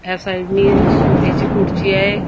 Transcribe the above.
या साईड नी एक सोफ्याची खुर्ची आहे.